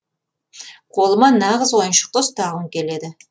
қолыма нағыз ойыншықты ұстағым келеді